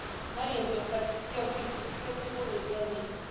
Many of you have said it's real people, it's real people with real needs.